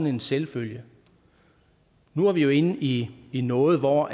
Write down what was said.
en selvfølge nu er vi jo inde i i noget hvor